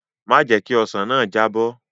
Má jẹ̀ ẹ́ kí ọsàn náà jábọ́!